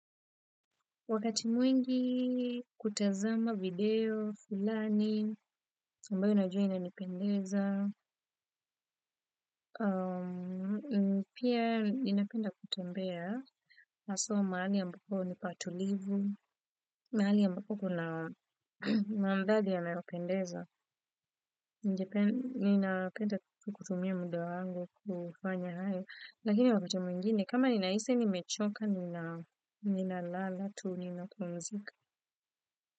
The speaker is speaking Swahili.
Wakati mwingi kutazama video fulani ambayo najua inanipendeza pia ninapenda kutembea, haswa mahali ambapo ni patulivu, mahali ambapo kuna maridadi yanayopendeza, ninapenda kutumia muda wangu kufanya hayo, lakini wakati mwingine, kama ninahisi nimechoka, ninalala tu ninapumzika.